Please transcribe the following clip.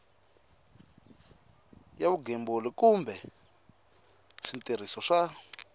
ya vugembuli kumbe switirhiso swa